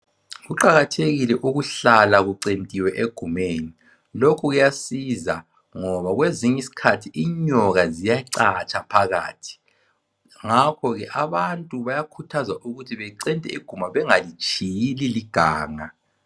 Kuqakathekile ukuhlala kucentiwe egumeni lokhu kuyasiza ngoba kwezinye izikhathi inyoka ziyachatsha phakathi. Ngakho ke abantu bayakhuthazwa ukuthi becente iguma bengalitshiyi liliganga